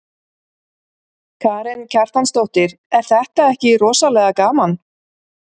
Karen Kjartansdóttir: Er þetta ekki rosalega gaman?